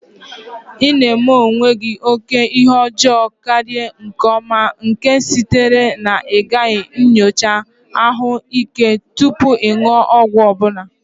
Ị na-eme onwe gị oke ihe ọjọọ karịa nke ọma, nke sitere na ịgaghị nyocha ahụike gị tupu ịṅụ ọgwụ ọ bụla.